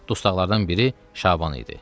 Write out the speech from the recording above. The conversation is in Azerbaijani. Dustaqlardan biri Şaban idi.